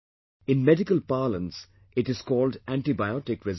In medical parlance it is called antibiotic resistance